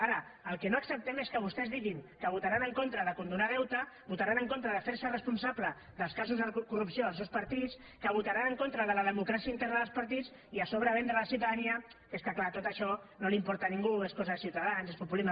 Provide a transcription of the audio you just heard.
ara el que no acceptem és que vostès diguin que votaran en contra de no condonar deute que votaran en contra de fer se responsables dels casos de corrupció dels seus partits que votaran en contra de la democràcia interna dels partits i a sobre venguin a la ciutadania que és clar tot això no importa a ningú és cosa de ciutadans és populisme